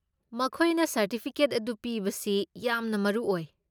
ꯃꯈꯣꯏꯅ ꯁꯔꯇꯤꯐꯤꯀꯦꯠ ꯑꯗꯨ ꯄꯤꯕꯁꯤ ꯌꯥꯝꯅ ꯃꯔꯨ ꯑꯣꯏ ꯫